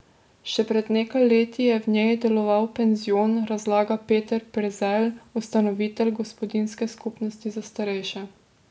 Še pred nekaj leti je v njej deloval penzion, razlaga Peter Prezelj, ustanovitelj gospodinjske skupnosti za starejše.